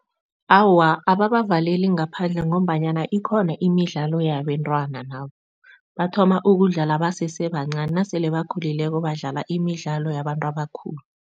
Awa, ababavaleli ngaphandle ngombanyana ikhona imidlalo yabentwana nabo. Bathoma ukudlala basese bancani nasele bakhulileko badlala imidlalo yabantu abakhulu.